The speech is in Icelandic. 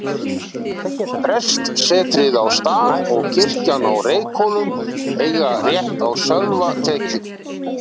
Prestssetrið á Stað og kirkjan á Reykhólum eiga rétt á sölvatekju.